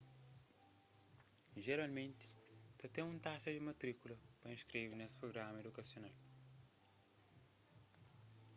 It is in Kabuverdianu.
jeralmenti ta ten un taxa di matríkula pa inskreve nes prugramas idukasional